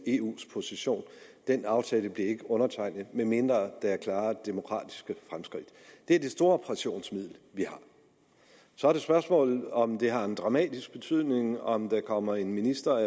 eus position at den aftale ikke undertegnet medmindre der er klare demokratiske fremskridt det er det store pressionsmiddel vi har så er det spørgsmålet om det har en dramatisk betydning om der kommer en minister